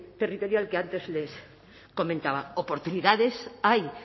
territorial que antes les comentaba oportunidades hay